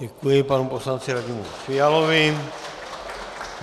Děkuji panu poslanci Radimu Fialovi.